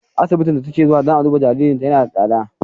Asibitin da take zuwa dan a duba jaririnta yana da tsada.